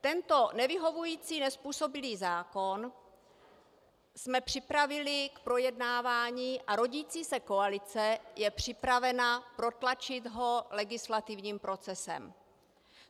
Tento nevyhovující, nezpůsobilý zákon jsme připravili k projednávání a rodící se koalice je připravena protlačit ho legislativním procesem.